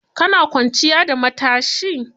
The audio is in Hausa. Ka na kwanciya da matsashi?